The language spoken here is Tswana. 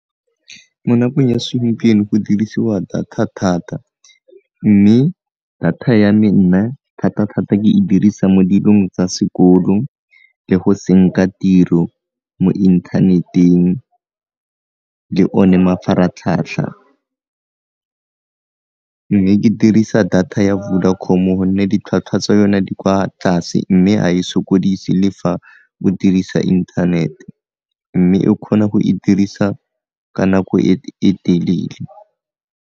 Mo nakong ya segompieno go dirisiwa data thata, mme data ya me nna thata-thata ke e dirisa mo dilong tsa sekolo le go senka tiro mo inthaneteng le o ne mafaratlhatlha, mme ke dirisa data ya Vodacom-o gonne ditlhwatlhwa tsa yone di kwa tlase mme ga e sokodise le fa o dirisa inthanete, mme e kgona go e dirisa ka nako e telele.